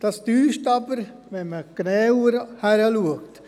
Dies täuscht aber, wenn man genauer hinschaut.